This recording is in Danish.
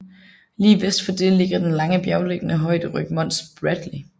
Lige vest for det ligger den lange bjerglignende højderyg Mons Bradley